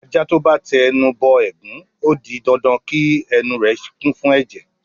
Ajá tó bá ti ẹnu bọ ẹ̀gún, ó di dandan kí ẹnu rẹ̀ kún fún ẹ̀jẹ̀.